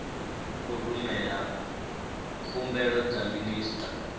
u rumela khumbelo kha minista